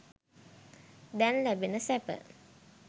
දැන් ලැබෙන සැප.